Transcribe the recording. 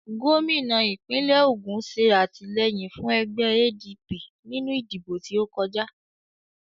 Gómìnà ìpínlẹ̀ Ògùn ṣe àtìlẹ́yìn fún ẹgbẹ́ ADP nínú ìdìbò tí ókọjá